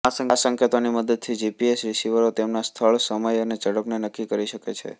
આ સંકેતોની મદદથી જીપીએસ રીસીવરો તેમના સ્થળ સમય અને ઝડપ નક્કી કરી શકે છે